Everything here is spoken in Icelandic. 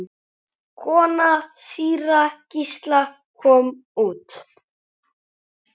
Kona síra Gísla kom út.